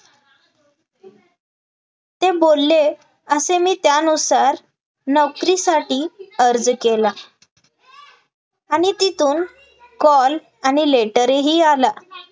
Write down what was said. ते बोलले असे मी त्यानुसार नोकरीसाठी अर्ज केला आणि तिथून call आणि letter ही आला,